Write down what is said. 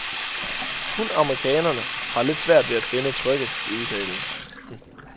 Kun amerikanerne har lidt svært ved at finde trykkket i udtalen.